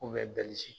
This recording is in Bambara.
K'u bɛ bɛlizi